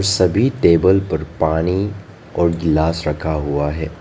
सभी टेबल पर पानी और गिलास रखा हुआ है।